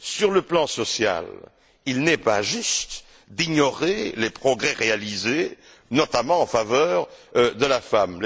Sur le plan social, il n'est pas juste d'ignorer les progrès réalisés, notamment en faveur de la femme.